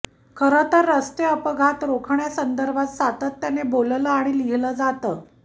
खरं तर रस्ते अपघात रोखण्यासंदर्भात सातत्यानं बोललं आणि लिहिलं जात आहे